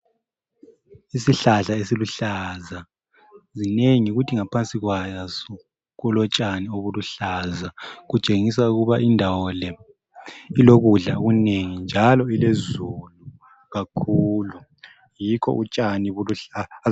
Isihlahla esiluhlaza. Zinengi! Kuthi ngaphansi kwaso, kulotshani obuluhlaza. Kutshengisa ukuba indawo le, ilokudla okunengi, njalo ilezulu kakhulu. Yikho utshani buluhlaza.